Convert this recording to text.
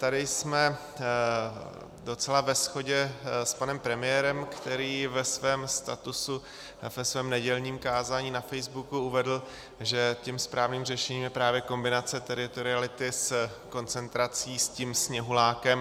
Tady jsme docela ve shodě s panem premiérem, který ve svém statusu, ve svém nedělním kázání na Facebooku uvedl, že tím správným řešením je právě kombinace teritoriality s koncentrací s tím sněhulákem.